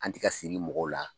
An tɛ ka siri mɔgɔw la